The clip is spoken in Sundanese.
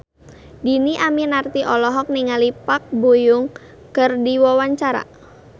Dhini Aminarti olohok ningali Park Bo Yung keur diwawancara